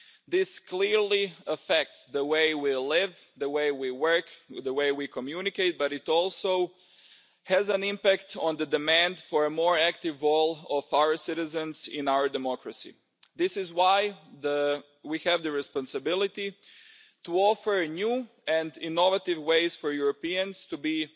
This clearly affects the way we live, the way we work and the way we communicate, but it also has an impact on the demand for a more active role for our citizens in our democracy. This is why we have the responsibility to offer new and innovative ways for Europeans to be